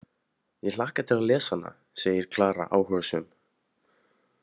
Ég hlakka til að lesa hana, segir Klara áhugasöm.